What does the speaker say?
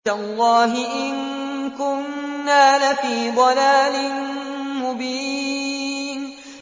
تَاللَّهِ إِن كُنَّا لَفِي ضَلَالٍ مُّبِينٍ